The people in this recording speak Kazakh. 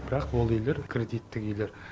бірақ ол үйлер кредиттік үйлер